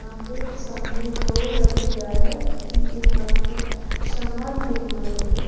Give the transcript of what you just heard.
यहां पे सामने दो लड़कियां हैं उनके हाथ में सम्मा लिए हुए हैं ये।